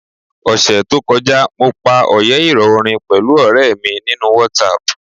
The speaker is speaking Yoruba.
Ọ̀sẹẹ̀ẹ́ to kọjá, mo pa òyẹ́ ìrọ̀ orin pẹ̀lú ọ̀rẹ̀ mi nínú WhatsApp.